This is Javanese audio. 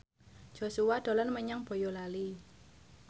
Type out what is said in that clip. Joshua dolan menyang Boyolali